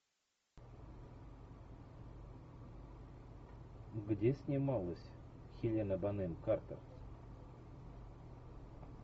где снималась хелена бонем картер